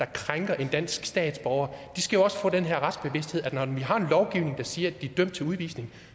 krænker en dansk statsborger skal også få den her retsbevidsthed altså at når vi har en lovgivning der siger at de er dømt til udvisning